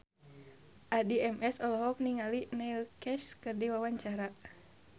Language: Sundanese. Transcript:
Addie MS olohok ningali Neil Casey keur diwawancara